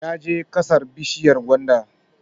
Ya je ƙasar bishiyar gwanda